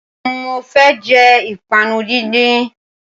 Mo fẹ́ jẹ ìpápánu díndín